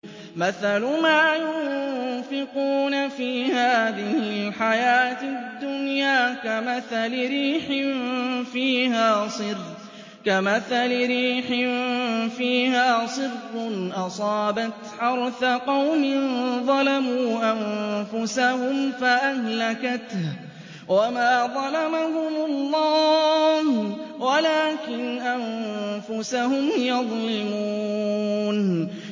مَثَلُ مَا يُنفِقُونَ فِي هَٰذِهِ الْحَيَاةِ الدُّنْيَا كَمَثَلِ رِيحٍ فِيهَا صِرٌّ أَصَابَتْ حَرْثَ قَوْمٍ ظَلَمُوا أَنفُسَهُمْ فَأَهْلَكَتْهُ ۚ وَمَا ظَلَمَهُمُ اللَّهُ وَلَٰكِنْ أَنفُسَهُمْ يَظْلِمُونَ